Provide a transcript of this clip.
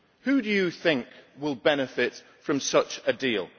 Who do you think will benefit from such a deal?